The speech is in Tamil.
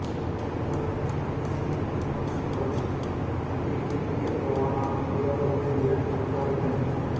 தாதாவான காசியின் பிரகாஷ் ராஜ் தங்கை தீபிகா பாவனா பிடிவாத குணமுள்ள பணக்காரப் பெண்